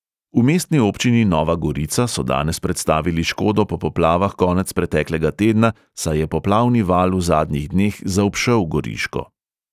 V mestni občini nova gorica so danes predstavili škodo po poplavah konec preteklega tedna, saj je poplavni val v zadnjih dneh zaobšel goriško.